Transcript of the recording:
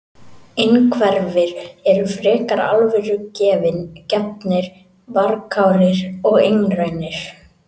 Innhverfir eru frekar alvörugefnir, varkárir og einrænir.